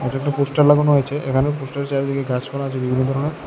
এটা একটা পোস্টার লাগানো হয়েছে এখানে পোস্টারের চারিদিকে গাছপালা আছে বিভিন্ন ধরণের।